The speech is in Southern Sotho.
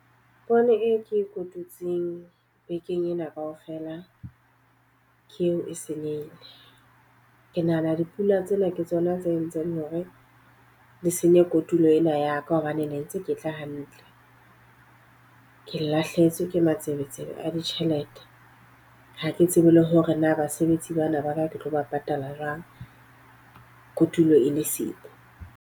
Poone e ke e kotutseng bekeng ena ka ofela ke eo e senyehile. Ke nahana dipula tsena ke tsona tse entseng hore le senye kotulo ena ya ka. Hobane ne ntse ke tla hantle. Ke lahlehetswe ke matsebetsebe a ditjhelete. Ha ke tsebe le hore na basebetsi bana ba ka ke tlo ba patala jwang, kotulo e le siko.